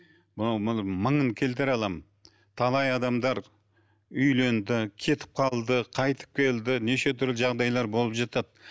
мынау мың мыңын келтіре аламын талай адамдар үйленді кетіп қалды қайтып келді неше түрлі жағдайлар болып жатады